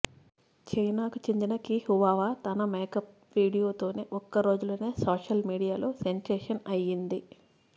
చైనాకు చెందిన కి హువావా తన మేకప్ వీడియోతో ఒక్కరోజులోనే సోషల్మీడియాలో సెన్సేషన్ అయ్యింది